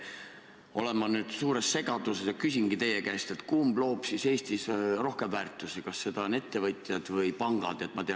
Ma olen nüüd suures segaduses ja küsingi teie käest: kummad loovad Eestis rohkem väärtusi – kas ettevõtjad või pangad?